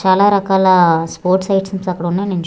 చాలా రకాల sports items అక్కడ ఉన్నయ్ నేన్ చూ--